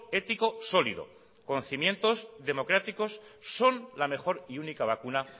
ético sólido con cimientos democráticos son la mejor y única vacuna